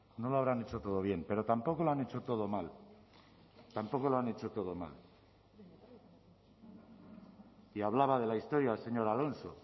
no lo habrán hecho todo bien pero tampoco lo han hecho todo mal tampoco lo han hecho todo mal y hablaba de la historia el señor alonso